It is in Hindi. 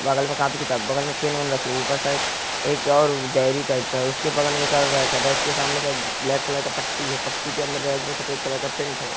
बगल में कॉपी किताब बगल मे पेन उन रखे हुए है। ऊपर साइड एक और डायरी टाइप का है उसके बगल मे एक और रैक है। रैक के सामने साइड ब्लैक कलर का पट्टी है। पट्टी के अंदर रैक में सफेद कलर का पैंट है।